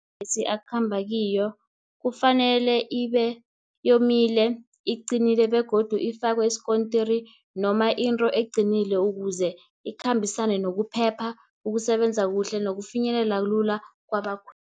amabhesi akhamba kiyo kufanele ibe yomile, iqinile, begodu ifakwe isikontiri, noma into eqinileko, ukuze ikhambisane nokuphepha, ukusebenza kuhle nokufinyelela lula kwabakhweli.